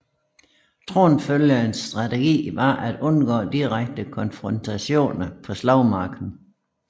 Tronfølgerens strategi var at undgå direkte konfrontationer på slagmarken